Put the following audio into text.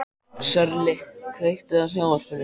Sörli, kveiktu á sjónvarpinu.